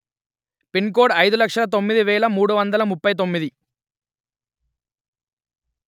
pin code అయిదు లక్షలు తొమ్మిది వెలు మూడు వందలు ముప్పై తొమ్మిది